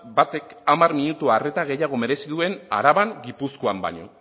batek hamar minutu arreta gehiago merezi duen araban gipuzkoan baino